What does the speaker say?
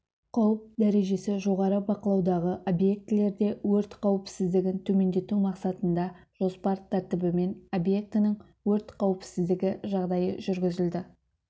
қауіп дәрежесі жоғары бақылаудағы объектілерде өрт қауіпсіздігін төмендету мақсатында жоспар тәртібімен объекттің өрт қауіпсіздігі жағдайы жүргізілді